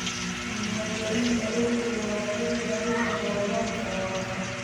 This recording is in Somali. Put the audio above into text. Diiwaangelinta dhulku waa qayb ka mid ah horumarka waara.